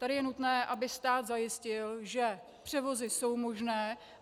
Tady je nutné, aby stát zajistil, že převozy jsou možné.